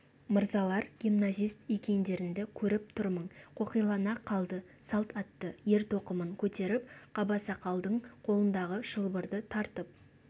мырзалар гимназист екендеріңді көріп тұрмын қоқилана қалды салт атты ер-тоқымын көтеріп қабасақалдың қолындағы шылбырды тартып